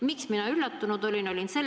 Miks mina üllatunud olin?